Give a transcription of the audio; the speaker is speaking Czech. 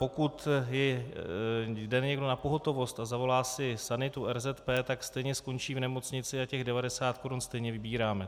Pokud jde někdo na pohotovost a zavolá si sanitu RZP, tak stejně skončí v nemocnici a těch 90 korun stejně vybíráme.